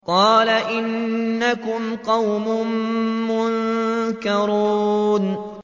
قَالَ إِنَّكُمْ قَوْمٌ مُّنكَرُونَ